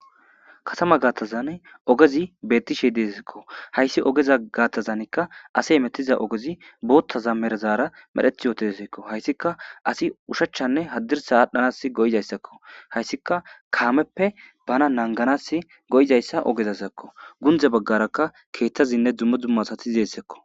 katama gaattazan ogezi bettishe disakko hayssi ogeza gaattazanikka ase emetiza ogezi bootta za merazaara medheth yootsekko hayssika asi ushachchanne haddirsa aadhdhanas goyizayssakko hayssika kaameppe bana nanganas go7izayssa ogezasakko gundze baggarakka keeththazinne dummo dzumma asati zeessakko